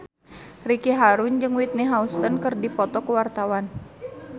Ricky Harun jeung Whitney Houston keur dipoto ku wartawan